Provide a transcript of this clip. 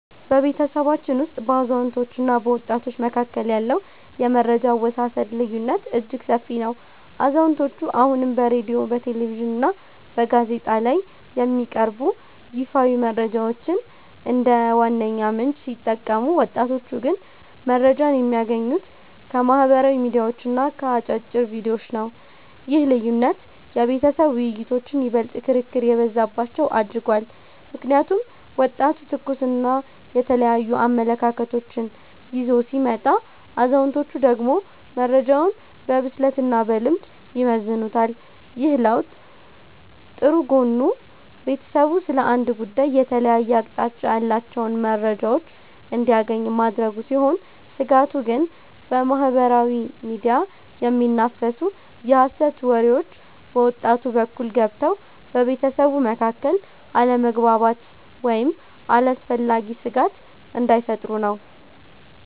በቤተሰባችን ውስጥ በአዛውንቶችና በወጣቶች መካከል ያለው የመረጃ አወሳሰድ ልዩነት እጅግ ሰፊ ነው። አዛውንቶቹ አሁንም በሬድዮ፣ በቴሌቪዥንና በጋዜጣ ላይ የሚቀርቡ ይፋዊ መረጃዎችን እንደ ዋነኛ ምንጭ ሲጠቀሙ፣ ወጣቶቹ ግን መረጃን የሚያገኙት ከማኅበራዊ ሚዲያዎችና ከአጫጭር ቪዲዮዎች ነው። ይህ ልዩነት የቤተሰብ ውይይቶችን ይበልጥ ክርክር የበዛባቸው አድርጓቸዋል። ምክንያቱም ወጣቱ ትኩስና የተለያዩ አመለካከቶችን ይዞ ሲመጣ፣ አዛውንቶቹ ደግሞ መረጃውን በብስለትና በልምድ ይመዝኑታል። ይህ ለውጥ ጥሩ ጎኑ ቤተሰቡ ስለ አንድ ጉዳይ የተለያየ አቅጣጫ ያላቸውን መረጃዎች እንዲያገኝ ማድረጉ ሲሆን፤ ስጋቱ ግን በማኅበራዊ ሚዲያ የሚናፈሱ የሐሰት ወሬዎች በወጣቱ በኩል ገብተው በቤተሰቡ መካከል አለመግባባት ወይም አላስፈላጊ ስጋት እንዳይፈጥሩ ነው።